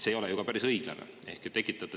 See ei ole ju päris õiglane.